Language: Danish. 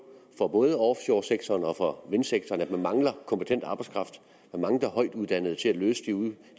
fra både offshoresektoren og fra vindsektoren at man mangler kompetent arbejdskraft man mangler højtuddannede til at løse de